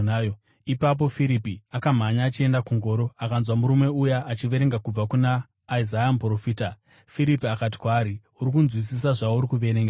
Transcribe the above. Ipapo Firipi akamhanya achienda kungoro akanzwa murume uya achiverenga kubva kuna Isaya muprofita. Firipi akati kwaari, “Uri kunzwisisa zvauri kuverenga here?”